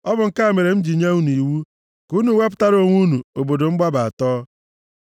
Ọ bụ nke a mere m ji nye unu iwu ka unu wepụtara onwe unu obodo mgbaba atọ.